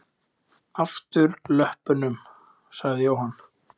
Afturlöppunum? sagði Jóhann.